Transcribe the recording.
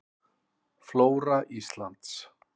Flóra Íslands.